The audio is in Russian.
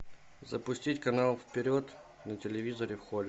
запустить канал вперед на телевизоре в холле